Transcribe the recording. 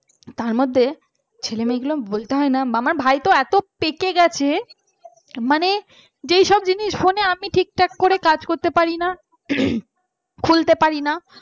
তার মধ্যে ছেলেমূলকে বলতে হয় না আমার ভাই তো এত পেকে গেছে মানে যেসব জিনিস আমি phone ঠিক ঠকা ভাবে কাজ করতে পারি না খুলতে উহ পারি না